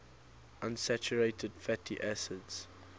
unsaturated fatty acids